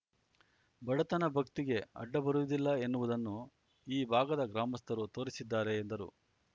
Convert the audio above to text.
ಬಡತನ ಭಕ್ತಿಗೆ ಅಡ್ಡಬರುವುದಿಲ್ಲ ಎನ್ನುವುದನ್ನು ಈ ಭಾಗದ ಗ್ರಾಮಸ್ಥರು ತೋರಿಸಿದ್ದಾರೆ ಎಂದರು